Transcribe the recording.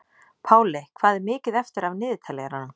Páley, hvað er mikið eftir af niðurteljaranum?